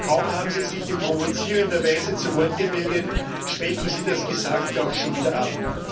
Kaum haben Sie sich in provozierender Weise zu Wort gemeldet, schwächen Sie das Gesagte auch schon wieder ab.